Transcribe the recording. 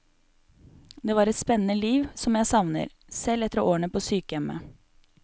Det var et spennende liv, som jeg savner, selv etter årene på sykehjemmet.